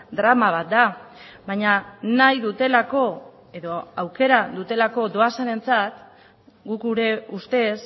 drama bat da baina nahi dutelako edo aukera dutelako doazenentzat guk gure ustez